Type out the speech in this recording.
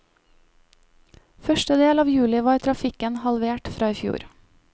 Første del av juli var trafikken halvert fra i fjor.